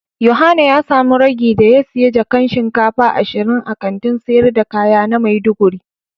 Yohana ya samu ragi da ya siya jakan shinkafa ashirin a Kantin sayar da kaya na maiduguri.